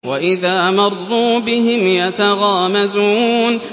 وَإِذَا مَرُّوا بِهِمْ يَتَغَامَزُونَ